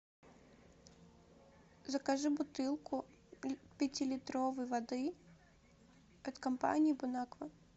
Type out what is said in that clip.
закажи бутылку пятилитровой воды от компании бон аква